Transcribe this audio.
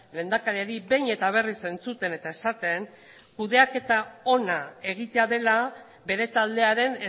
lehendakariari behin eta berriz entzuten eta esaten kudeaketa ona egitea dela bere taldearen